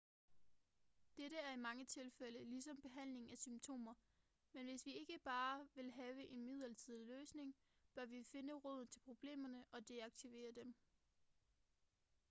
dette er i mange tilfælde ligesom behandling af symptomer men hvis vi ikke bare vil have en midlertidig løsning bør vi finde roden til problemerne og deaktivere dem